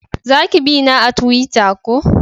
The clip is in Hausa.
Za ki bina a tuwita ko?